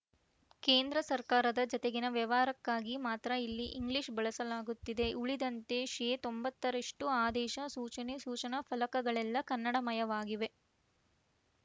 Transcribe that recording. ಕೇಂದ್ರ ಸರ್ಕಾರದ ಜತೆಗಿನ ವ್ಯವಹಾರಕ್ಕಾಗಿ ಮಾತ್ರ ಇಲ್ಲಿ ಇಂಗ್ಲಿಷ್‌ ಬಳಸಲಾಗುತ್ತಿದೆ ಉಳಿದಂತೆ ಶೇತೊಂಬತ್ತ್ ಎಂಟು ರಷ್ಟು ಆದೇಶ ಸೂಚನೆ ಸೂಚನಾ ಫಲಕಗಳೆಲ್ಲ ಕನ್ನಡಮಯವಾಗಿವೆ